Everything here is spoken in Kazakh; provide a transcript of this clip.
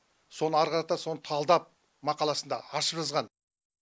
соны ары қарата соны талдап мақаласында ашып жазған